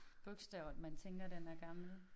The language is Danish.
Bogstaver man tænker den er gammel